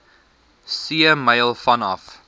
see myl vanaf